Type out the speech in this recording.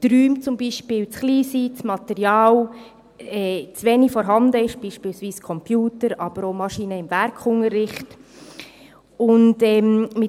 So sind etwa die Räume zu klein, das Material, wie etwa Computer, aber auch Maschinen für den Werkunterricht, reicht nicht aus.